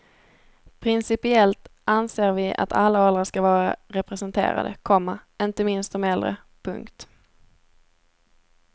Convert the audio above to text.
Principiellt anser vi att alla åldrar skall vara representerade, komma inte minst de äldre. punkt